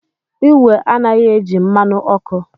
Igwe anaghị eji mmanụ ọkụ.